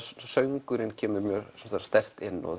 söngurinn kemur mjög sterkt inn og